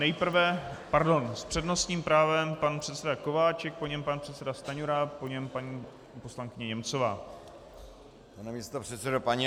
Nejprve - pardon, s přednostním právem pan předseda Kováčik, po něm pan předseda Stanjura, po něm paní poslankyně Němcová.